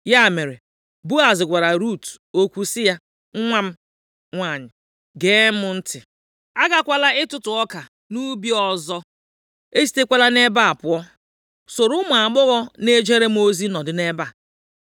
Ya mere, Boaz gwara Rut okwu sị ya, “Nwa m nwanyị, gee m ntị. Agakwala ịtụtụ ọka nʼubi ọzọ, esitekwala nʼebe a pụọ. Soro ụmụ agbọghọ na-ejere m ozi nọdụ nʼebe a.